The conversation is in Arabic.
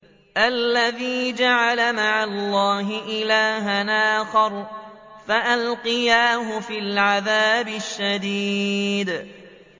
الَّذِي جَعَلَ مَعَ اللَّهِ إِلَٰهًا آخَرَ فَأَلْقِيَاهُ فِي الْعَذَابِ الشَّدِيدِ